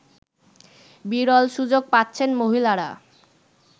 বিরল সুযোগ পাচ্ছেন মহিলারা